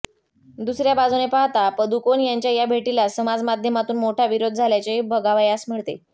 दुसऱया बाजूने पाहता पदुकोण यांच्या या भेटीला समाजमाध्यमातून मोठा विरोध झाल्याचेही बघावयास मिळते